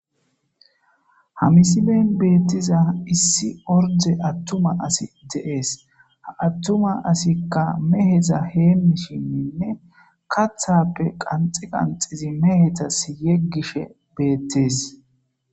hamisiben beettiza issi orde attuma asi de7ees attuma asikka meheza heemishinninne kathappe qanxi qanxizi mehetas yeggishe beettees